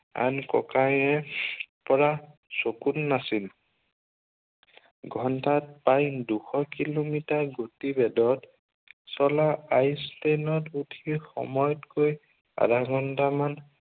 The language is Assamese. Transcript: আন ককায়ে পৰা চকুত নাছিল। ঘণ্টাত প্ৰায় দুশ কিলোমিটাৰ গতিবেগত চলা ice train ত উঠি সময়তকৈ আধা ঘণ্টামান